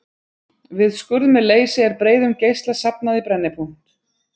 Við skurð með leysi er breiðum geisla safnað í brennipunkt.